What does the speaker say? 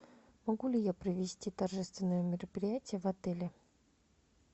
могу ли я провести торжественное мероприятие в отеле